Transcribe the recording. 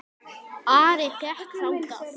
Ari gekk þangað.